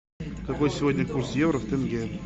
какой сегодня курс евро в тенге